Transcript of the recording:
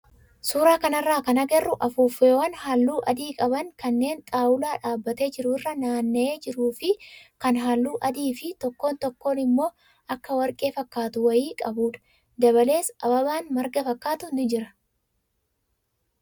Suuraa kanarraa kan agarru afuuffeewwan halluu adii qaban kanneen xaawulaa dhaabbatee jiru irra naanna'ee jiruu fi kan halluu adii fi tokko tokko immoo akka warqee fakkaatu wayii qabudha. Dabalees ababaan marga fakkaatu ni jira.